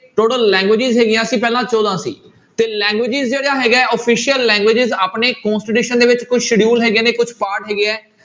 Total languages ਹੈਗੀਆਂ ਸੀ ਪਹਿਲਾਂ ਚੌਦਾਂ ਸੀ ਤੇ languages ਜਿਹੜੇ ਹੈਗਾ ਹੈ official languages ਆਪਣੇ constitution ਦੇ ਵਿੱਚ ਕੋਈ schedule ਹੈਗੀਆਂ ਨੇ ਕੁਛ part ਹੈਗੇ ਹੈ।